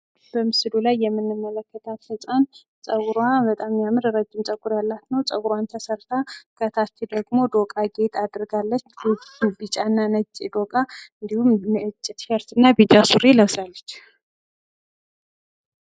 በምስሉ ላይ የምንመለከታት ህፃን ፀጉሯ በጣም የሚያምር ረጅም ፀጉር ያላት፤ ፀጉራን ተሰርታ ከታች ደግሞ ዶቃ ጌጥ አድርጋለች፤ ቢጫና ነጭ ዶቃ እንዲሁም ነጭ ቲሸርት ለብሳለች።